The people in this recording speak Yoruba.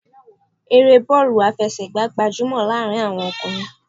Eré bọọlu aláfẹsẹ̀gá gbajúmò láàrin àwọn ọkùnrin